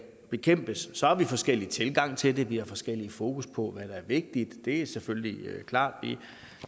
bekæmpes så har vi forskellige tilgange til det vi har forskelligt fokus på hvad der er vigtigt det er selvfølgelig klart